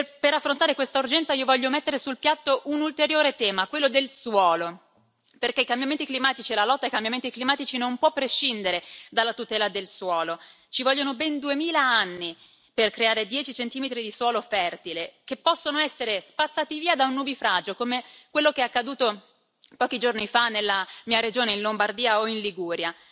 Per affrontare questa urgenza, io voglio mettere sul piatto un ulteriore tema, quello del suolo, perché i cambiamenti climatici e la lotta ai cambiamenti climatici non può prescindere dalla tutela del suolo. Ci vogliono ben 2000 anni per creare 10 centimetri di suolo fertile, che possono essere spazzati via da un nubifragio come quello che è accaduto pochi giorni fa, nella mia regione in Lombardia o in Liguria.